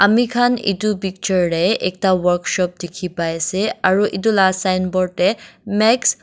amikhan edu picture tae ekta workshop dikhipaiase aro edu la signboard tae max.